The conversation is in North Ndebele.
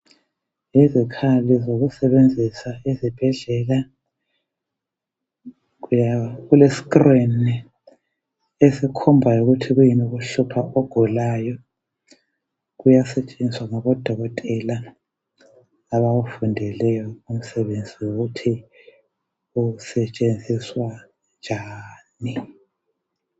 Izikhali kokusebenzisa ezibhedlela kulescreen esikhombayo ukuthi kuyini okuhlupha ogulayo kuyasetshenziswa ngabodokotela abawufundeleyo umsebenzi wokuthi usetshenziswa njani.